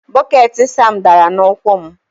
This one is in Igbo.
Bọket Sam dara n'ụkwụ m